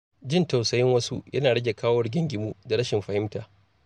Jin tausayin wasu yana rage kawo rigingimu da rashin fahimta.